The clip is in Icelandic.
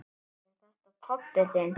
Er þetta pabbi þinn?